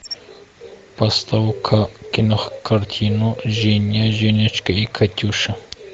поставь ка кинокартину женя женечка и катюша